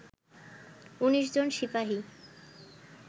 ১৯ জন সিপাহি